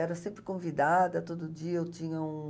Era sempre convidada, todo dia eu tinha um...